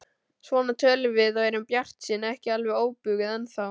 Svona tölum við og erum bjartsýn, ekki alveg óbuguð ennþá.